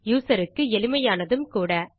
user க்கு எளிமையானதும் கூட